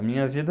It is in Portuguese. A minha vida...